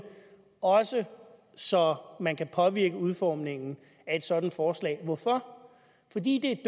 også så man kan påvirke udformningen af et sådant forslag hvorfor fordi det er